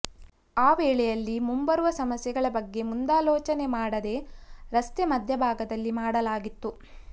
ಆ ವೇಳೆಯಲ್ಲಿ ಮುಂಬರುವ ಸಮಸ್ಯೆಗಳ ಬಗ್ಗೆ ಮುಂದಾಲೋಚನೆ ಮಾಡದೆ ರಸ್ತೆ ಮಧ್ಯಭಾಗದಲ್ಲಿ ಮಾಡಲಾಗಿತ್ತು